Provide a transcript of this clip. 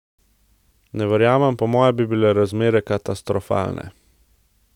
Ne verjamem, po mojem bi bile razmere katastrofalne.